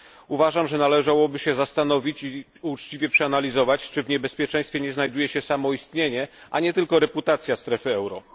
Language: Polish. Uważam, że należałoby się zastanowić i uczciwie przeanalizować, czy w niebezpieczeństwie nie znajduje się samo istnienie, a nie tylko reputacja strefy euro.